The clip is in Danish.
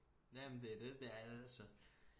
Ja men det er det det er altså